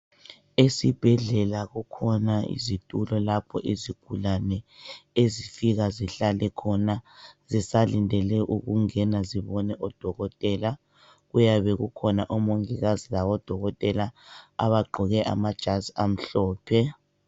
Esibhedlela kukhona izitulo lapho izigulane ezifika zihlale khona zisalindele ukungena zibone udokotela kuyabe kukhona omongikazi balodokotela abagqoke amajazi amhlophe.